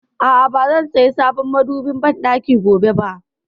A'a, ba zan saya sabon madobin banɗaki gobe ba